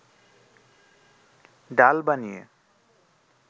ডাল বানিয়ে